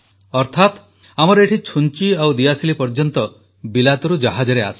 ଅର୍ଥାତ ଆମର ଏଠି ଛୁଞ୍ଚି ଓ ଦିଆସିଲି ପର୍ଯ୍ୟନ୍ତ ବିଲାତରୁ ଜାହାଜରେ ଆସେ